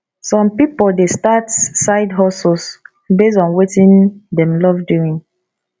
some pipo dey start sidehustles based on wetin dem love doing